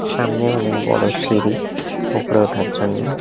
সামনে অনেক বড়ো সিঁড়ি ওপরে ওঠার জন্যে ।